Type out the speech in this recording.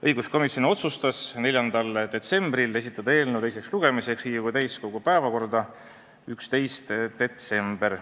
Õiguskomisjon otsustas 4. detsembril esitada eelnõu teiseks lugemiseks Riigikogu täiskogu 11. detsembri istungi päevakorda.